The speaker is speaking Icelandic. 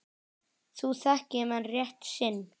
Nú þekki menn rétt sinn.